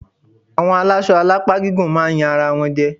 Àwọn alásọ alápá gígùn máa yan ara wọn jẹ.